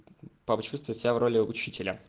папа чувствует себя в роли учителя